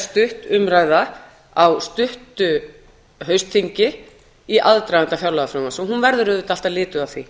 stutt umræða á stuttu haustþingi í aðdraganda fjárlagafrumvarps og hún verður auðvitað alltaf lituð af því